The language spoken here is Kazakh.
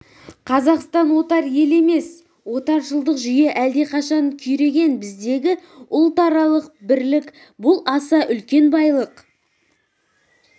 қазақстан отар ел емес отаршылдық жүйе әлдеқашан күйреген біздегі ұлтаралық бірлік бұл аса үлкен байлық